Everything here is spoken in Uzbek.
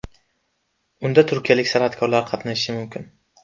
Unda turkiyalik san’atkorlar qatnashishi mumkin.